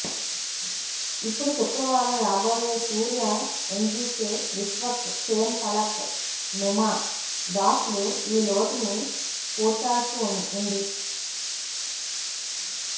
ఇప్పుడు శుక్రవారం రాబోయే సూర్య ఎన్జికె విశ్వక్ సేన్ ఫలక్ నుమా దాస్లు ఈ లోటుని పూడ్చాల్సి ఉంది